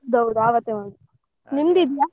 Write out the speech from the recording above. ಹೌದೌದು ಅವತ್ತೇ ಮಾಡುದು. ಇದೀಯಾ?